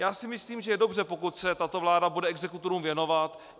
Já si myslím, že je dobře, pokud se tato vláda bude exekutorům věnovat.